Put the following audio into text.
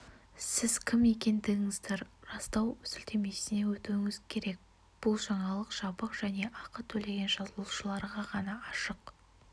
сіз кім екендігіңізді растау сілтемесіне өтуіңіз керек бұл жаңалық жабық және ақы төлеген жазылушыларға ғана ашық